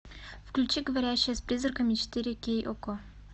включи говорящая с призраками четыре кей окко